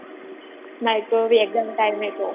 micro exam time એ તો